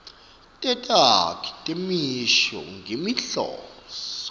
tetakhi temisho ngetinhloso